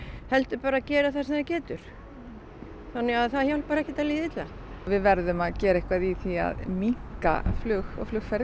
heldur bara gera það sem það getur það hjálpar ekkert að líða illa við verðum að gera eitthvað í því að minnka flug og flugferðir